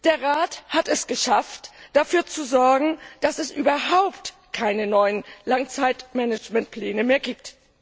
Der Rat hat es geschafft, dafür zu sorgen, dass es überhaupt keine neuen Langzeitmanagementpläne mehr gibt.